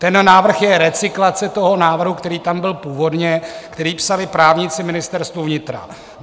Ten návrh je recyklace toho návrhu, který tam byl původně, který psali právníci Ministerstva vnitra.